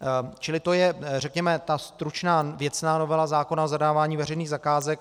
Čili to je řekněme ta stručná věcná novela zákona o zadávání veřejných zakázek.